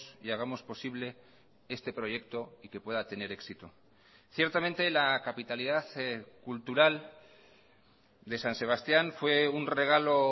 y hagamos posible este proyecto y que pueda tener éxito ciertamente la capitalidad cultural de san sebastián fue un regalo